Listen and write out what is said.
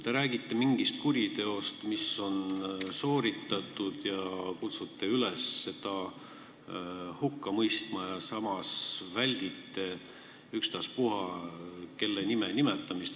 Te räägite mingist kuriteost, mis on sooritatud, ja kutsute üles seda hukka mõistma, samas aga väldite ükstaspuha kelle nime nimetamist.